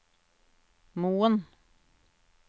Moen